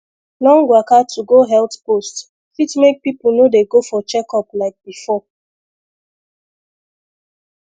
long waka to go health post fit make people no dey go for checkup like before